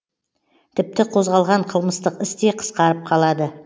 тіпті қозғалған қылмыстық іс те қысқарып қалады